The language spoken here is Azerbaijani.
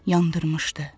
Yandırmışdı.